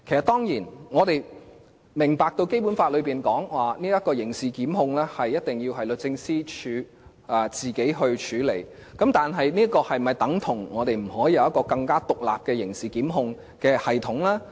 當然，我們明白《基本法》訂明，刑事檢控工作一定要交由律政司自行處理，但這是否等於我們不能設立一個更為獨立的刑事檢控系統呢？